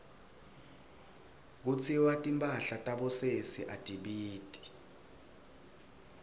kutsiwa timphahla tabosesi atibiti